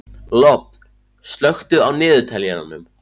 Lofn, slökktu á niðurteljaranum.